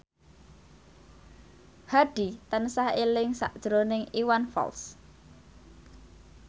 Hadi tansah eling sakjroning Iwan Fals